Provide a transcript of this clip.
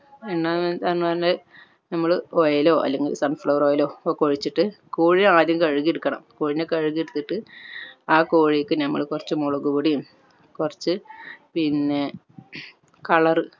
നമ്മൾ oil ഒ അല്ലെങ്കിൽ sun flower oil ഒ ഒക്കെ ഒഴിച്ചിട്ട് കോഴിനെ ആദ്യം കഴുകിയെടുക്കണം. കോഴിനെ കഴുകി എടുത്തിട്ട് ആ കോഴിക് നമ്മൾ കൊർച്ച് മുളക്പൊടിയും കൊർച്ച് പിന്നെ colour